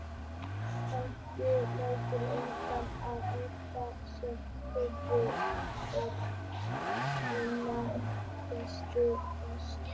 Fangavist lætur enga skynjun óskaddaða og gildismatið fer einna fyrst forgörðum.